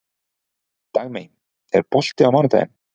Dagmey, er bolti á mánudaginn?